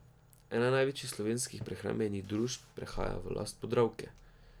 Ena največjih slovenskih prehrambenih družb prehaja v last Podravke.